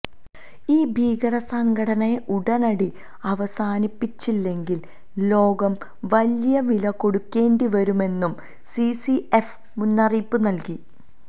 ഈ ഭീകരസംഘടനയെ ഉടനടി അവസാനിപ്പിച്ചില്ലെങ്കില് ലോകം വലിയവില കൊടുക്കേണ്ടിവരുമെന്നും സിസിഎഫ് മുന്നറിയിപ്പു നല്കി